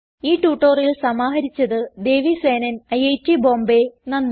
ഈ ട്യൂട്ടോറിയൽ സമാഹരിച്ചത് ദേവി സേനൻ ഐറ്റ് ബോംബേ നന്ദി